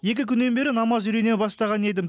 екі күннен бері намаз үйрене бастаған едім